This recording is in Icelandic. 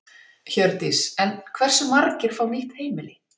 Hjördís: En hversu margir fá nýtt heimili?